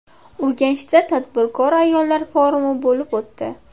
Urganchda tadbirkor ayollar forumi bo‘lib o‘tdi.